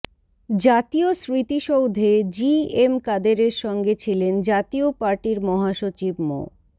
জাতীয় স্মৃতিসৌধে G M কাদেরের সঙ্গে ছিলেন জাতীয় পার্টির মহাসচিব মো